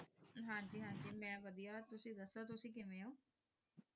ਜੀ ਹਨ ਜੀ ਮੈਂ ਵਾਦੇਯਾ ਤੁਸੀਂ ਦਾਸੁ ਕੇਵੇਯਨ ਹੋ